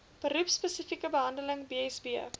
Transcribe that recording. beroepspesifieke bedeling bsb